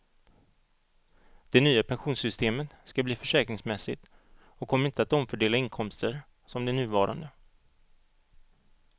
Det nya pensionssystemet ska bli försäkringsmässigt och kommer inte att omfördela inkomster som det nuvarande.